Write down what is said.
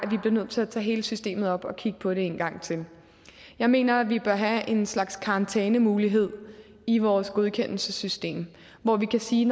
nødt til at tage hele systemet op og kigge på det en gang til jeg mener vi bør have en slags karantænemulighed i vores godkendelsessystem hvor vi kan sige